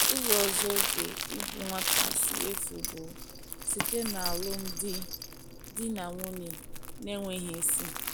Ụzọ ọzọ oge ịbụ nwata si efu bụ site n’alụm di di na nwunye n'enweghi ịsị